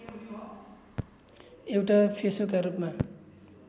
एउटा फेसोका रूपमा